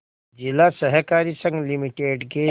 जिला सहकारी संघ लिमिटेड के